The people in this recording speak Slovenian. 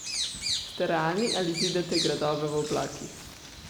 Ste realni ali zidate gradove v oblakih?